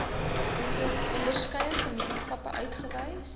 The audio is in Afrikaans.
onderskeie gemeenskappe uitgewys